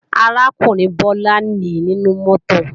Arákùnrin Bọ́lá nìí nínú mọ́tò